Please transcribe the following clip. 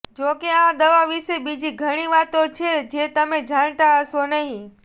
જો કે આ દવા વિશે બીજી ઘણી વાતો છે જે તમે જાણતા હશો નહીં